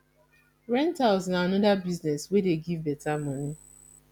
rentals na another business wey dey give better money